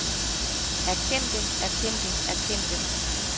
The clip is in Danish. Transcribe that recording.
erkendte erkendte erkendte